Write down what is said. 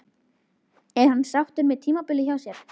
Er hann sáttur með tímabilið hjá sér?